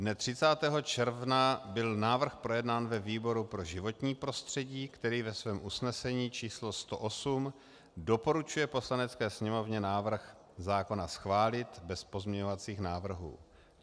Dne 30. června byl návrh projednán ve výboru pro životní prostředí, který ve svém usnesení číslo 108 doporučuje Poslanecké sněmovně návrh zákona schválit bez pozměňovacích návrhů.